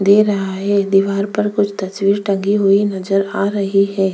दे रहा है दीवार पर कुछ तस्वीर टंगी हुई नजर आ रही हैं।